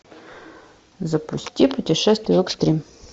запусти путешествие в экстрим